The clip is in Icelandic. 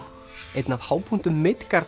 einn af hápunktum